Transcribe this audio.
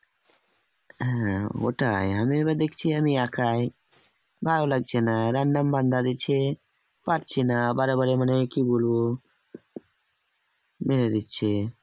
হ্যাঁ ওটাই আমি এবার দেখছি আমি একাই ভালো লাগছে না random বান্দা দিচ্ছে পারছিনা বারে বারে মানে কি বলবো মেরে দিচ্ছে